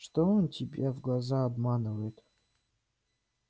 что он тебе в глаза обманывает